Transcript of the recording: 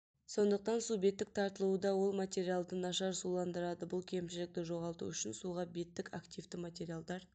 сондықтан су беттік тартылуда ол материалды нашар суландырады бұл кемшілікті жоғалту үшін суға беттік активті материалдар